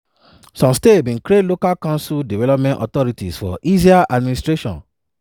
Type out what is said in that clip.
some states bin create local council development authorities for easier administration.